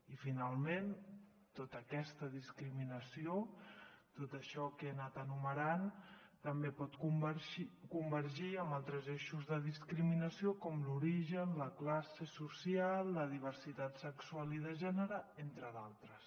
i finalment tota aquesta discriminació tot això que he anat enumerant també pot convergir amb altres eixos de discriminació com l’origen la classe social la diversitat sexual i de gènere entre d’altres